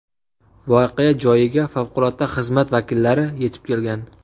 Voqea joyiga favqulodda xizmat vakillari yetib kelgan.